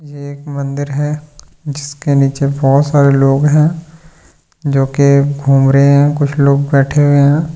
यह एक मंदिर है जिसके नीचे बहुत सारे लोग हैं जो कि घूम रहे हैं कुछ लोग बैठे हुए हैं।